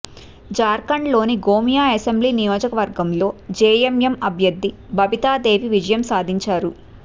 జార్ఖండ్లోని గోమియా అసెంబ్లీ నియోజకవర్గంలో జేఎంఎం అభ్యర్థి బబితాదేవి విజయం సాధించారు